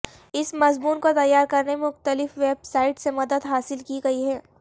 اس مضمون کو تیار کرنے میں مختلف ویب سائٹ سے مدد حاصل کی گئی ہے